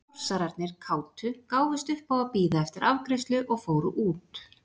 Norsararnir kátu gáfust upp á að bíða eftir afgreiðslu og fóru út.